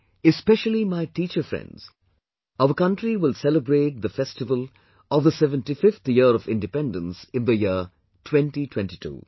Friends, especially my teacher friends, our country will celebrate the festival of the 75th year of independence in the year 2022